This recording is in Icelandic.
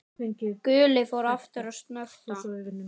Gulli fór aftur að snökta.